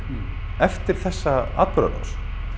eftir þessa atburðarás